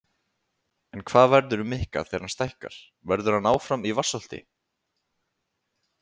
En hvað verður um Mikka þegar hann stækkar, verður hann áfram í Vatnsholti?